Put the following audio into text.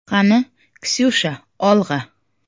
Qani, Ksyusha, olg‘a!